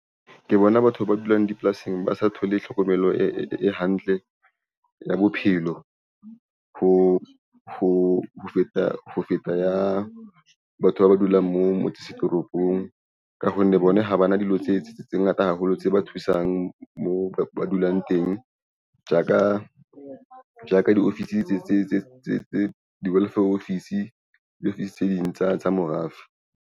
Ke bona batho ba dulang dipolasing, ba sa thole tlhokomelo e hantle ya bophelo ho feta ya batho ba ba dulang moo toropong, ka honne bona ha bana dilo tse ngata haholo tse ba thusang moo ba dulang teng. Jaka di-office di-welfare office, di-office tse ding tsa morafe.